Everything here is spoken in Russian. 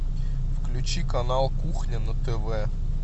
включи канал кухня на тв